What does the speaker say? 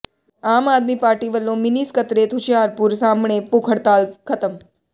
ਆਮ ਆਦਮੀ ਪਾਰਟੀ ਵਲੋਂ ਮਿੰਨੀ ਸਕੱਤਰੇਤ ਹੁਸ਼ਿਆਰਪੁਰ ਸਾਹਮਣੇ ਭੁੱਖ ਹਡ਼ਤਾਲ ਖਤਮ